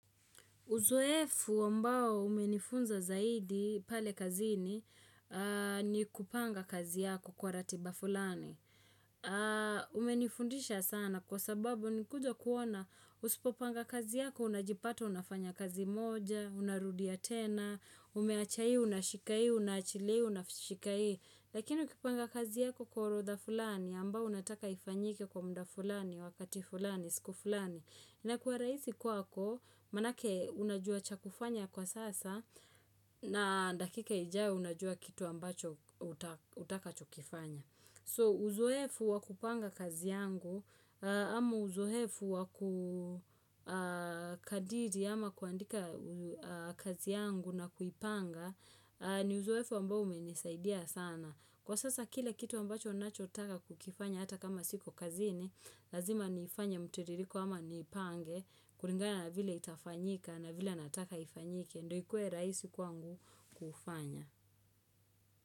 Uzoefu ambao umenifunza zaidi pale kazini ni kupanga kazi yako kwa ratiba fulani. Umenifundisha sana kwa sababu nilikuja kuona usipopanga kazi yako unajipata unafanya kazi moja, unarudia tena, umeacha hii unashika hii unaachilia unashika hii Lakini ukipanga kazi yako kwa orodha fulani ambao unataka ifanyike kwa muda fulani wakati fulani siku fulani. Inakuwa rahisi kwako, maanake unajua cha kufanya kwa sasa na dakika ijao unajua kitu ambacho utakachokifanya. So, uzoefu wa kupanga kazi yangu, ama uzoefu wa kukadidi ama kuandika kazi yangu na kuipanga, ni uzoefu ambao umenisaidia sana. Kwa sasa kila kitu ambacho nachotaka kukifanya hata kama siko kazini, lazima nifanye mtiririko ama nipange, kulingana na vile itafanyika na vile anataka ifanyike, ndio ikuwe rahisi kwangu kufanya.